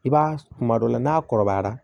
I b'a kuma dɔ la n'a kɔrɔbayara